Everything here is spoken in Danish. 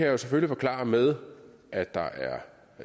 jo selvfølgelig forklare med at